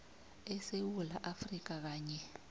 esewula afrika kanye